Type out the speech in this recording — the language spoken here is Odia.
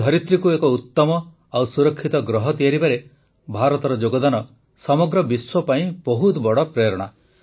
ଏ ଧରିତ୍ରୀକୁ ଏକ ଉତ୍ତମ ଓ ସୁରକ୍ଷିତ ଗ୍ରହ ତିଆରିବାରେ ଭାରତର ଯୋଗଦାନ ସମଗ୍ର ବିଶ୍ୱ ପାଇଁ ବହୁତ ବଡ଼ ପ୍ରେରଣା